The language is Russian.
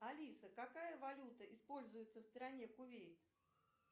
алиса какая валюта используется в стране кувейт